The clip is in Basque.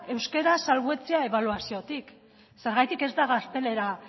euskara salbuetsia ebaluaziotik zergatik ez da gaztelera